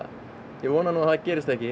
ég vona nú að það gerist ekki